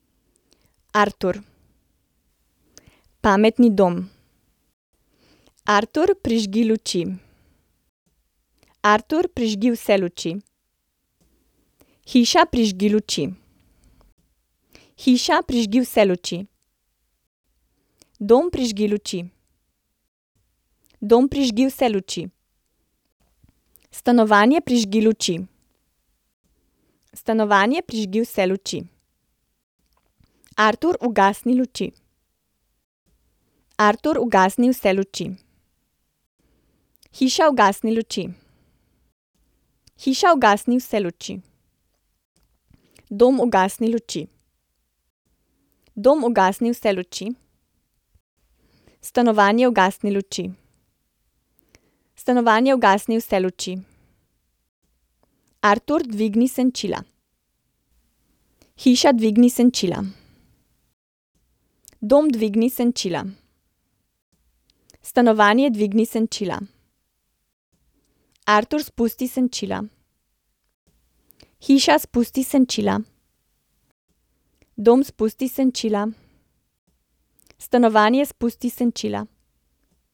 Artur. Pametni dom. Artur, prižgi luči. Artur, prižgi vse luči. Hiša, prižgi luči. Hiša, prižgi vse luči. Dom, prižgi luči. Dom, prižgi vse luči. Stanovanje, prižgi luči. Stanovanje, prižgi vse luči. Artur, ugasni luči. Artur, ugasni vse luči. Hiša, ugasni luči. Hiša, ugasni vse luči. Dom, ugasni luči. Dom, ugasni vse luči. Stanovanje, ugasni luči. Stanovanje, ugasni vse luči. Artur, dvigni senčila. Hiša, dvigni senčila. Dom, dvigni senčila. Stanovanje, dvigni senčila. Artur, spusti senčila. Hiša, spusti senčila. Dom, spusti senčila. Stanovanje, spusti senčila.